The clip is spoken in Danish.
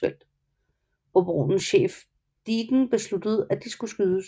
Operationens chef Dieken besluttede at de skulle skydes